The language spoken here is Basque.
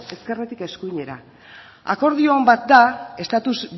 ezkerretik eskuinera akordio on bat da estatus